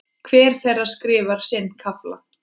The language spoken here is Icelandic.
Hver þeirra skrifar sinn kafla.